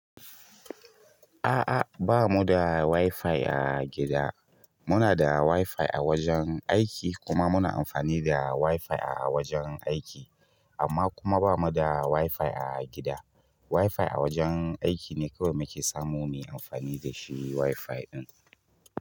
A'a, ba mu da wifi a gida. Muna da wifi a wajan aiki kuma muna amfani da wifi a wajan aiki amma kuma ba mu da wifi a gida. Wifi a wajen aiki ne kawai muke samu mu yi amfani da shi wifi ɗin.